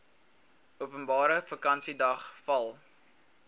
openbare vakansiedag val